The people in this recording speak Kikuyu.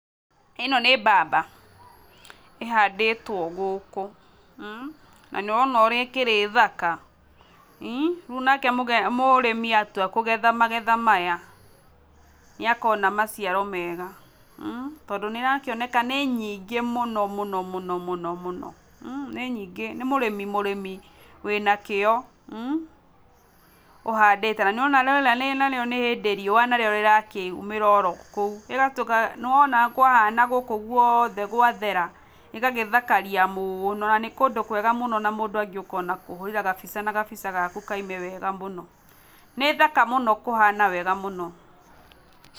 ĩno nĩ mbamba ĩhandĩtwo gũkũ, na nĩwona ũrĩa ĩkĩrĩ thaka, rĩu nake mũrĩmi atua kũgetha magetha maya nĩakona maciaro mega tondũ nĩ ĩrakĩoneka nĩ nyingĩ mũno mũno mũno mũno, nĩ nyingĩ nĩ mũrĩmi mũrĩmi wĩna kĩyo ũhandĩte na nĩ wona rĩrĩa narĩo nĩ hĩndĩ riũa narĩo rĩrakĩumĩra oro kũu rĩgatũma nĩwona kwahana gũkũ guothe gwathera, rĩgagĩthakaria mũno na nĩ kũndũ kwega mũno na mũndũ angĩũka ona kũhũrĩra gabica na gabica gaku kaume wega mũno. Nĩ thaka mũno kũhana wega mũno.